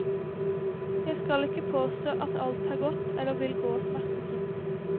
Jeg skal ikke påstå at alt har gått eller vil gå smertefritt.